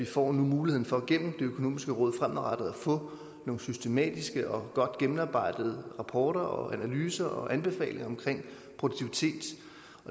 får muligheden for gennem det økonomiske råd fremadrettet at få nogle systematiske og godt gennemarbejdede rapporter og analyser og anbefalinger om produktivitet